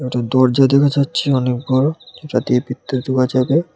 একটা দরজা দেখা যাচ্ছে অনেক বড় যাতে পিত্তা দেওয়া যাবে।